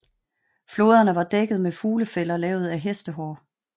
Flåderne var dækket med fuglefælder lavet af hestehår